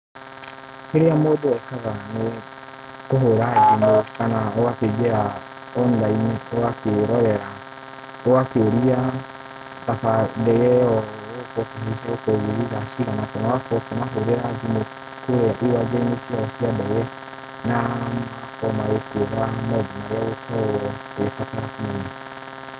Kĩrĩa mũndũ ekaga nĩ kũhũra thimũ kana ũgakĩingĩra online ũgakĩrorera. ũgakĩũria ndege ĩyo ũgũkorwo ũkĩhaica ĩgũkorwo ĩgĩthiĩ thaa cigana kana ũkĩmahũrĩra thimũ kũrĩa iwanja ciao cia ndege na magakorwo magĩkwĩra maũndũ marĩa ũgũkorwo ũgĩbatara kũmenya.